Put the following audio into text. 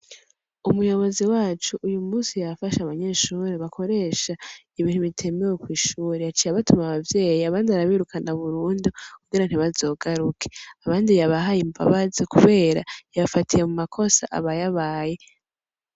Umuyobozi wacu uyu musi yafashe abanyeshure bakoresha ibintu bitemewe kw'ishure, yaciye abatuma abavyeyi, abandi arabirukana burundu kugira ntibazogaruke, abandi yabahaye imbabazi kubera yabafatiye mu makosa abayabaye.